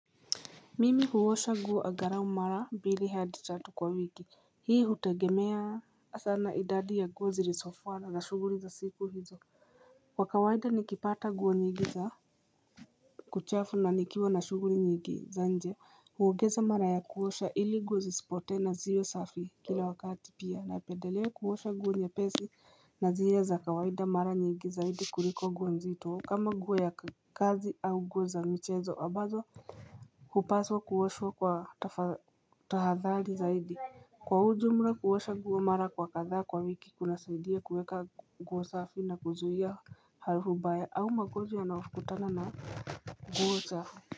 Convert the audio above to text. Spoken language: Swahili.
Mimi huwosha nguo angalau mara mbili hadi tatu kwa wiki Hii hutegemea sana idadi ya nguo zilisofua na za shughuli za siku hizo Kwa kawaida nikipata nguo nyingi za kuchafu na nikiwa na shuguri nyingi za nje huongeza mara ya kuwosha ili nguo isipote na ziwe safi kila wakati pia na pedelewe kuwosha guo nyepesi na zile za kawaida mara nyingi zaidi kuliko nguo nzito kama nguo ya kazi au guo za michezo ambazo Hupaswa kuoshwa kwa tahadhali zaidi Kwa ujumla kuosha nguo mara kwa kadha kwa wiki kuna saidia kuweka nguo safi na kuzuia harufu mbaya au magonjwa yanayokutana na nguo chafu.